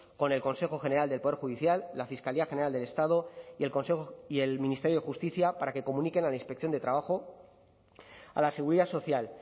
con el consejo general del poder judicial la fiscalía general del estado y el ministerio de justicia para que comuniquen a la inspección de trabajo a la seguridad social